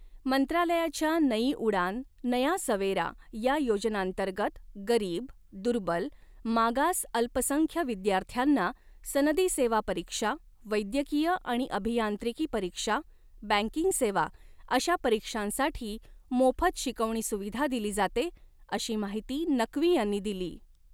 मंत्रालयाच्या नई उड़ान, नया सवेरा या योजनांतर्गत, गरीब, दुर्बल, मागास अल्पसंख्य विद्यार्थ्यांना सनदी सेवा परीक्षा, वैद्यकीय आणि अभियांत्रिकी परीक्षा, बँकिंग सेवा अशा परीक्षांसाठी मोफत शिकवणी सुविधा दिली जाते, अशी माहिती नक्वी यांनी दिली.